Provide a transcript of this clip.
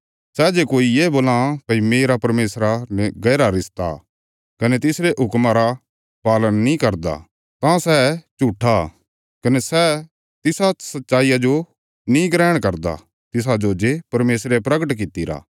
सै जे कोई ये बोलां भई मेरा परमेशरा ने गैहरा रिश्ता कने तिसरे हुक्मा रा पालन नीं करदा तां सै झूट्ठा कने सै तिसा सच्चाईया जो नीं ग्रहण करदा तिसाजो जे परमेशरे परगट कित्तिरा